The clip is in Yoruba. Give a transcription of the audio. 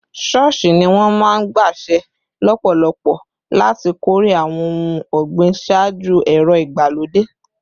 Ṣọ́ọ̀ṣì ni wọ́n máa ń gbaṣẹ́ lọ́pọ̀lọpọ̀ láti kórè àwọn ohun ọ̀gbìn ṣáájú ẹ̀rọ ìgbàlódé